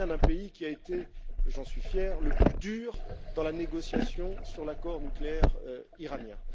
Je viens d'un pays qui a été et j'en suis fier le plus dur dans la négociation sur l'accord nucléaire iranien.